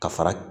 Ka fara